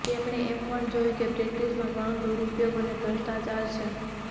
તેમણે એમ પણ જોયું કે પ્રેક્ટિસમાં ઘણું દુરુપયોગ અને ભ્રષ્ટાચાર છે